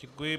Děkuji.